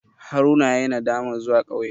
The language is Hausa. Haruna yayi nadamar zuwa ƙauye.